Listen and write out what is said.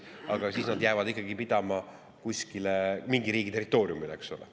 Aga siis nad jäävad ikkagi pidama mingi riigi territooriumil, eks ole.